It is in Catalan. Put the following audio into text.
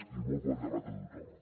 i molt bon debat a tothom